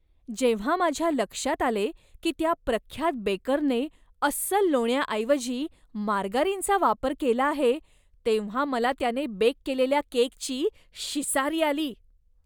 जेव्हा माझ्या लक्षात आले की त्या प्रख्यात बेकरने अस्सल लोण्याऐवजी मार्गारीनचा वापर केला आहे, तेव्हा मला त्याने बेक केलेल्या केकची शिसारी आली.